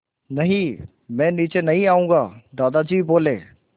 नहीं मैं नीचे नहीं आऊँगा दादाजी बोले